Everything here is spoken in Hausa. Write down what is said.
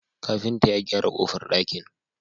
Kafinta ya gyara kofar dakin